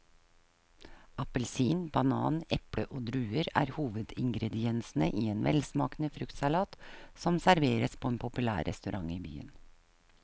Appelsin, banan, eple og druer er hovedingredienser i en velsmakende fruktsalat som serveres på en populær restaurant i byen.